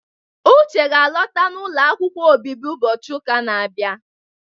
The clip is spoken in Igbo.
Uche ga-alọta n'ụlọ akwụkwọ obibi ụbọchị ụka na-abịa.